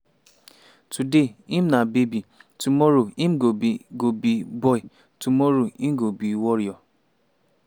today im na baby tomorrow im go be go be boy tomorrow im go be warrior.”